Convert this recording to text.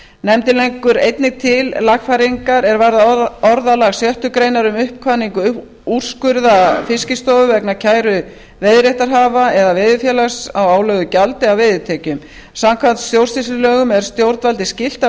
nefndin leggur einnig til lagfæringar er varða orðalag í sjöttu grein um uppkvaðningu úrskurða fiskistofu vegna kæru veiðiréttarhafa eða veiðifélags á álögðu gjaldi af veiðitekjum samkvæmt stjórnsýslulögum er stjórnvaldi skylt að